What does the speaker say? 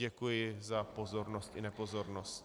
Děkuji za pozornost i nepozornost.